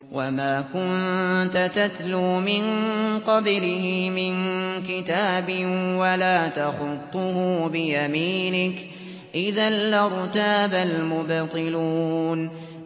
وَمَا كُنتَ تَتْلُو مِن قَبْلِهِ مِن كِتَابٍ وَلَا تَخُطُّهُ بِيَمِينِكَ ۖ إِذًا لَّارْتَابَ الْمُبْطِلُونَ